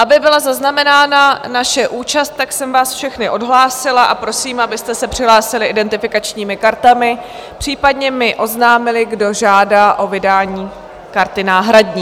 Aby byla zaznamenána naše účast, tak jsem vás všechny odhlásila a prosím, abyste se přihlásili identifikačními kartami, případně mi oznámili, kdo žádá o vydání karty náhradní.